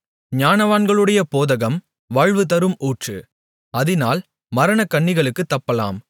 ஞானவான்களுடைய போதகம் வாழ்வுதரும் ஊற்று அதினால் மரணக்கண்ணிகளுக்குத் தப்பலாம்